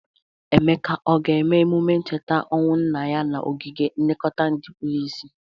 Emeka ọ ga-eme emụme ncheta ọnwụ nna ya n'ogige nlekọta ndị kpuru isi?